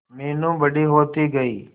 मीनू बड़ी होती गई